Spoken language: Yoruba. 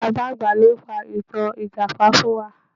Bàbá àgbà ló pa ìtàn ìjàpá fún wa.